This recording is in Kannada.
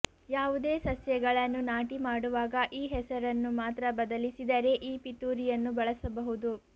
ಯಾವುದೇ ಸಸ್ಯಗಳನ್ನು ನಾಟಿ ಮಾಡುವಾಗ ಈ ಹೆಸರನ್ನು ಮಾತ್ರ ಬದಲಿಸಿದರೆ ಈ ಪಿತೂರಿಯನ್ನು ಬಳಸಬಹುದು